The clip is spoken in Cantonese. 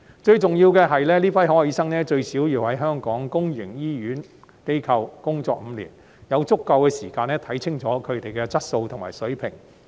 最重要的是，這批海外醫生最少要在香港公營醫療機構工作5年，有足夠時間看清楚他們的質素和水平。